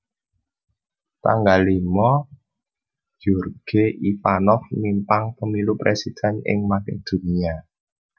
tanggal limo Gjorge Ivanov mimpang pemilu presiden ing Makedonia